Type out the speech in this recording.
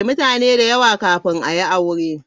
Mutane da yawa kafin a yi aure.